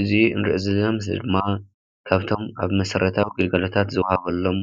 እዚ ንሪኦም ዘለና ምስሊ ድማ ካብቶም ኣብ መሰረታዊ ግልጋሎታት ዝወሃበሎም